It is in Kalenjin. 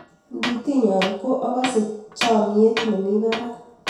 ng'i tinya ko akase chamiet nemi barak